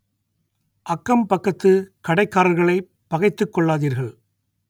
அக்கம் பக்கத்து கடைக்காரர்களைப் பகைத்துக் கொள்ளாதீர்கள்